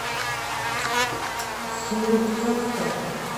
салют как там